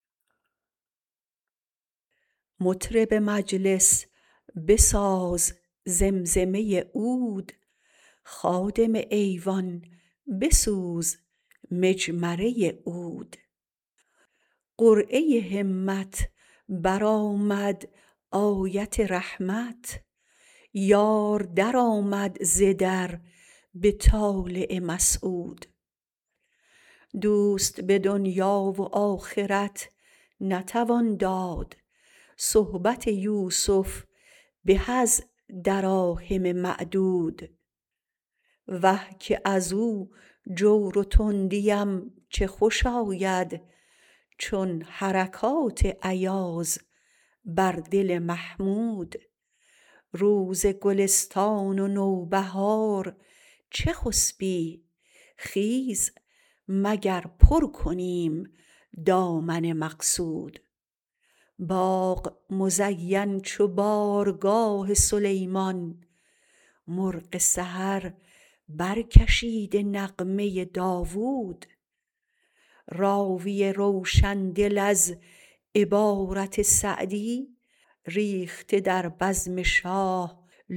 مطرب مجلس بساز زمزمه عود خادم ایوان بسوز مجمره عود قرعه همت برآمد آیت رحمت یار درآمد ز در به طالع مسعود دوست به دنیا و آخرت نتوان داد صحبت یوسف به از دراهم معدود وه که ازو جور و تندیم چه خوش آید چون حرکات ایاز بر دل محمود روز گلستان و نوبهار چه خسبی خیز مگر پر کنیم دامن مقصود باغ مزین چو بارگاه سلیمان مرغ سحر برکشیده نغمه داود راوی روشندل از عبارت سعدی ریخته در بزم شاه لؤلؤی منضود وارث ملک عجم اتابک اعظم سعد ابوبکر سعد زنگی مودود